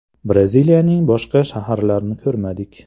– Braziliyaning boshqa shaharlarini ko‘rmadik.